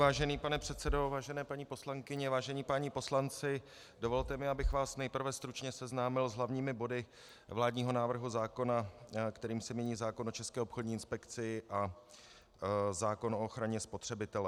Vážený pane předsedo, vážené paní poslankyně, vážení páni poslanci, dovolte mi, abych vás nejprve stručně seznámil s hlavními body vládního návrhu zákona, kterým se mění zákon o České obchodní inspekci a zákon o ochraně spotřebitele.